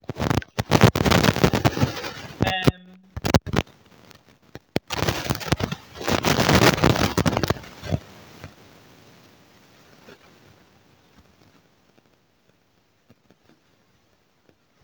Na to um take action to prevent flooding and erosion because e dey cause um damage to our homes and properties. um